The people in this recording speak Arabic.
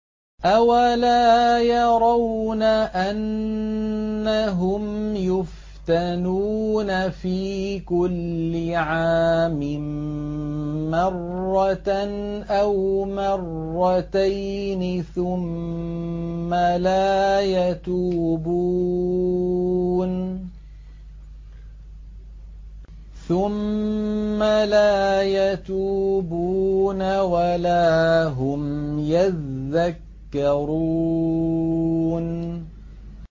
أَوَلَا يَرَوْنَ أَنَّهُمْ يُفْتَنُونَ فِي كُلِّ عَامٍ مَّرَّةً أَوْ مَرَّتَيْنِ ثُمَّ لَا يَتُوبُونَ وَلَا هُمْ يَذَّكَّرُونَ